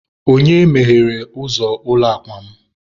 onye meghere ụzọ ụlọ akwa m?